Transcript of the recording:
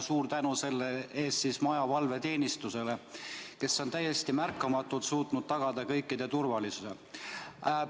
Suur tänu selle eest maja valveteenistusele, kes on täiesti märkamatult suutnud tagada kõikide turvalisuse!